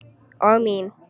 Og mín.